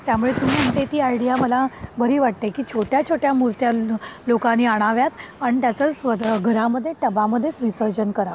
त्यामुळे तू म्हणते ती आयडिया मला बरी वाटते की छोट्या छोट्या मुर्त्या लोकांनी आणाव्यात आणि त्याच्या घरामध्येच विसर्जन कराव.